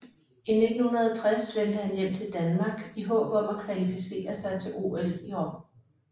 I 1960 vendte han hjem till Danmark i håb om at kvalificere sig til OL i Rom